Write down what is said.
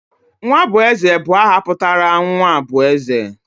Nwabueze bu aha putara nwa bu eze.